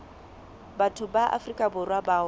batho ba afrika borwa bao